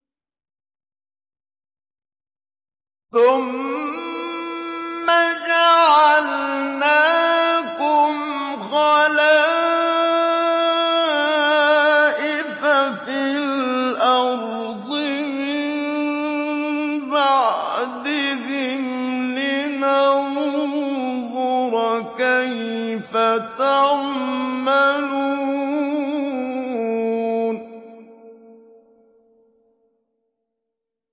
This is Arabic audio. ثُمَّ جَعَلْنَاكُمْ خَلَائِفَ فِي الْأَرْضِ مِن بَعْدِهِمْ لِنَنظُرَ كَيْفَ تَعْمَلُونَ